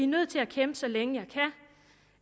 nødt til at kæmpe så længe